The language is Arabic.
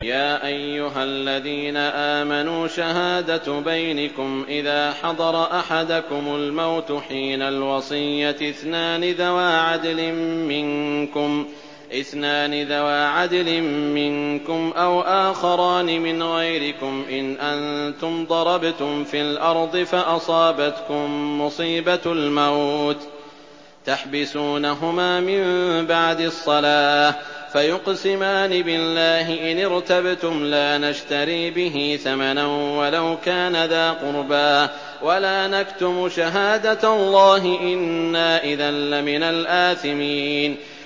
يَا أَيُّهَا الَّذِينَ آمَنُوا شَهَادَةُ بَيْنِكُمْ إِذَا حَضَرَ أَحَدَكُمُ الْمَوْتُ حِينَ الْوَصِيَّةِ اثْنَانِ ذَوَا عَدْلٍ مِّنكُمْ أَوْ آخَرَانِ مِنْ غَيْرِكُمْ إِنْ أَنتُمْ ضَرَبْتُمْ فِي الْأَرْضِ فَأَصَابَتْكُم مُّصِيبَةُ الْمَوْتِ ۚ تَحْبِسُونَهُمَا مِن بَعْدِ الصَّلَاةِ فَيُقْسِمَانِ بِاللَّهِ إِنِ ارْتَبْتُمْ لَا نَشْتَرِي بِهِ ثَمَنًا وَلَوْ كَانَ ذَا قُرْبَىٰ ۙ وَلَا نَكْتُمُ شَهَادَةَ اللَّهِ إِنَّا إِذًا لَّمِنَ الْآثِمِينَ